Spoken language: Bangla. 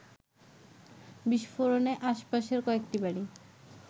বিস্ফোরণে আশপাশের কয়েকটি বাড়ি